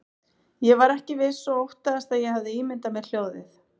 Ég var ekki viss og óttaðist að ég hefði ímyndað mér hljóðið.